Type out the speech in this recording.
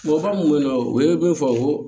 Mɔgɔ mun be yen nɔ u ye min fɔ